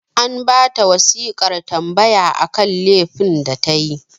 An ba ta wasiƙar tambaya akan lefin da ta yi